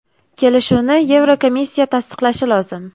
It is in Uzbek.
Kelishuvni Yevrokomissiya tasdiqlashi lozim.